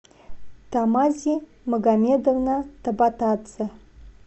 тамази магомедовна табатадзе